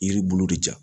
Yiri bulu de ja